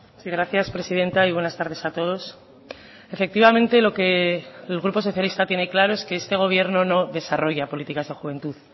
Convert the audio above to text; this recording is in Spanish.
sí gracias presidenta y buenas tardes a todos efectivamente lo que el grupo socialista tiene claro es que este gobierno no desarrolla políticas de juventud